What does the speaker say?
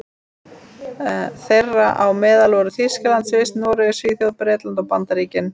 Þeirra á meðal voru Þýskaland, Sviss, Noregur, Svíþjóð, Bretland og Bandaríkin.